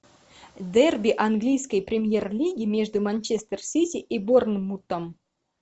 дерби английской премьер лиги между манчестер сити и борнмутом